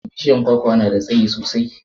bishiyan kwakwa na da tsayi sosai